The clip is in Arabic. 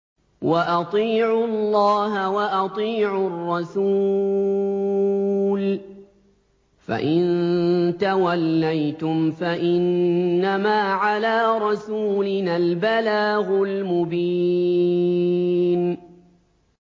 وَأَطِيعُوا اللَّهَ وَأَطِيعُوا الرَّسُولَ ۚ فَإِن تَوَلَّيْتُمْ فَإِنَّمَا عَلَىٰ رَسُولِنَا الْبَلَاغُ الْمُبِينُ